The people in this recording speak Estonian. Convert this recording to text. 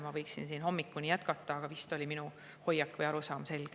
Ma võiksin siin hommikuni jätkata, aga vist on minu hoiak või arusaam selge.